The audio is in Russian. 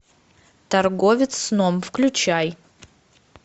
торговец сном включай